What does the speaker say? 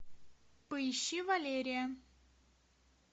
поищи валерия